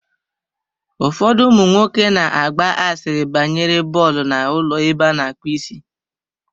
Ụfọdụ ụmụnwoke na-agba asịrị banyere bọọlụ n'ụlọ ebe a na-akpụ isi.